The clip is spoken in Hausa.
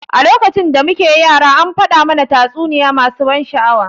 A lokacin da muke yara an faɗa mana tatsuniya masu ban sha'awa.